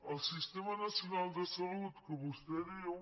el sistema nacional de salut que vostè diu